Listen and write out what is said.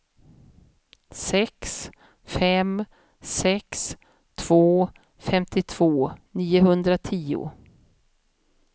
sex fem sex två femtiotvå niohundratio